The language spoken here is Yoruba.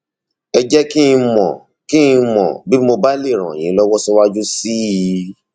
ẹ jẹ kí n mọ kí n mọ bí mo bá lè ràn yín lọwọ síwájú sí i